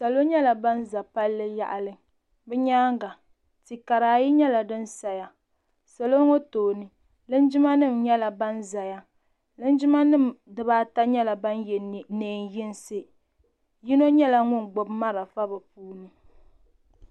salo nyɛla ban za palli yaɣili bɛ nyaaga ti' kara ayi nyɛla din saya salɔ ŋɔ tooni linjimanima nyɛla ban zaya linjimanima ata nyɛla ban ye neen' yinsi yino nyɛla ŋun gbubi marafa bɛ puuni.